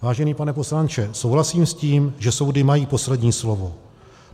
Vážený pane poslanče, souhlasím s tím, že soudy mají poslední slovo.